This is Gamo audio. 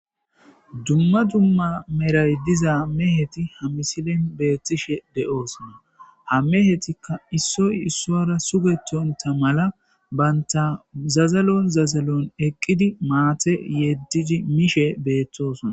Dumma dumma meray diza meheti ha misilen beetishe de'osonna; ha mehetika issoy isuwara sugetonta mala banta zazalon zazalon eqqidi maate yedidi mishe beetosonna.